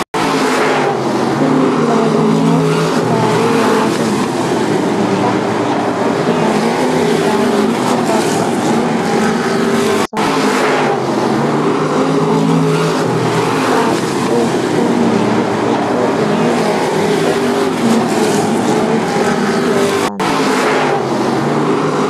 Tini lalemotti gitaare yaateni afanitanota ikitana tini gitareno babtitino udunichinni loosanitinota ikitana insano qaqqichoninnina kirtenni loosanitinote tini kireno lee kireni loosanitinote.